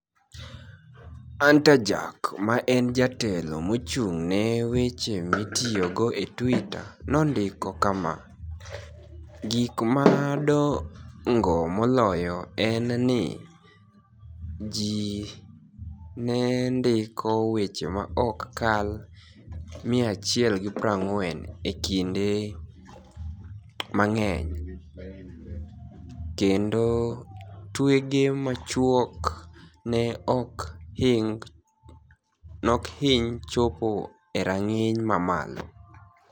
Anitajack, ma eni jatelo mochunig'ni e weche mitiyogo e Twitter, nonidiko kama: "Gik madonigo moloyo eni nii, ji ni e nidiko weche ma ok kal 140 e kinide manig'eniy, kenido twege machuok ni e ok hiniy chopo e ranig'iniy mamalo.